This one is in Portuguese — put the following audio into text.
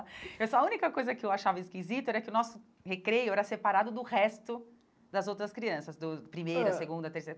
A única coisa que eu achava esquisita era que o nosso recreio era separado do resto das outras crianças, do primeiro, segundo, terceiro.